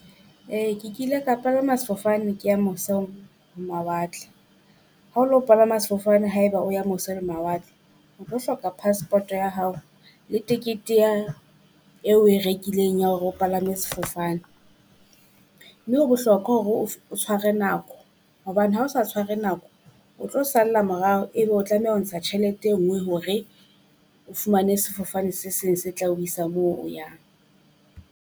Ee ke kile ka palama sefofane ke ya mose ho mawatle, ha o lo palama sefofane haeba o ya mose le mawatle. O tlo hloka passport ya hao le tekete ya eo oe rekileng ya hore o palame sefofane. Mme ho bohlokwa hore o o tshware nako, hobane ha o sa tshware nako o tlo salla morao, ebe o tlameha ho ntsha tjhelete e ngwe hore o fumane sefofane se seng se tla isa moo o yang.